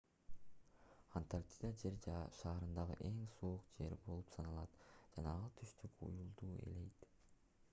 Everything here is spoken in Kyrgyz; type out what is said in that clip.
антарктида жер шарындагы эң суук жер болуп саналат жана ал түштүк уюлду ээлейт